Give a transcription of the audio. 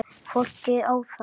Fólkið á þá.